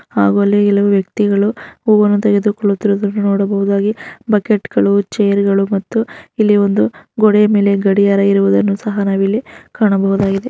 ಹಾಗೂ ಇಲ್ಲಿ ಹಲವು ವ್ಯಕ್ತಿಗಳು ಹೂವನ್ನು ತೆಗೆದುಕೊಳ್ಳುತ್ತಿರುವುದನ್ನು ನೋಡಬಹುದಾಗಿದೆ ಬಕೆಟ್ ಗಳು ಚೇರ್ಗಳು ಮತ್ತು ಇಲ್ಲಿ ಒಂದು ಗೋಡೆಯ ಮೇಲೆ ಗಡಿಯಾರ ಇರುವುದನ್ನು ಸಹ ನಾವು ಇಲ್ಲಿ ಕಾಣಬಹುದಾಗಿದೆ.